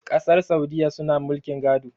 kasar saudiyya suna mulkin gado